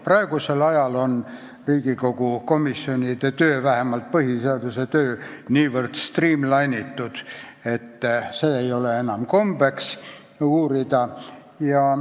Praegusel ajal on Riigikogu komisjonide, vähemalt põhiseaduskomisjoni töö niivõrd streamline'itud, et seda ei ole enam kombeks uurida.